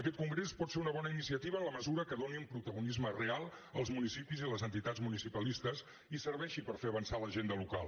aquest congrés pot ser una bona iniciativa en la mesura que doni un protagonisme real als municipis i les entitats municipalistes i serveixi per fer avançar l’agenda local